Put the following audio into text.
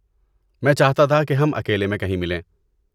میں چاہتا تھا کہ ہم اکیلے میں کہیں ملیں۔